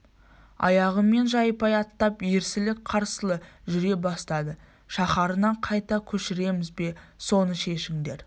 аяғымен жайпай аттап ерсілі-қарсылы жүре бастады шаһарына қайта көшіреміз бе соны шешіңдер